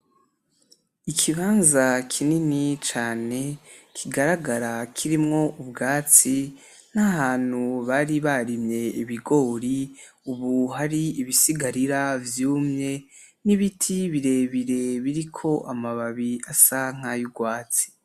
Ikibanza kinini cane kigaragara kirimwo ubwatsi, nahantu bari barimye ibigori ubu hari ibisigarira vyumye, n'ibiti birebire biriko amababi asa nkayurwatsi.